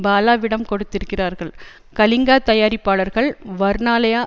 பாலாவிடம் கொடுத்திருக்கிறார்கள் கலிங்கா தயாரிப்பாளர்கள் வர்ணாலயா